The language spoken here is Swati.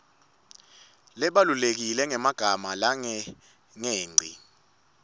labalulekile ngemagama langengci